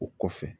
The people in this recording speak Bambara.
O kɔfɛ